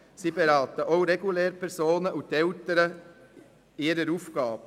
Sie beraten auch Lehrpersonen und die Eltern in ihren Aufgaben.